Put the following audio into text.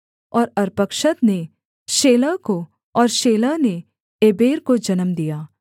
और अर्पक्षद ने शेलह को और शेलह ने एबेर को जन्म दिया